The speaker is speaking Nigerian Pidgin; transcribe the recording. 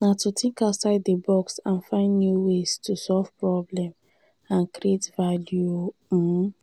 na to think outside di box and find new ways to solve problems and create value. um